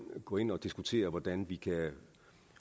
går ind og diskuterer hvordan vi